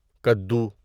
کدو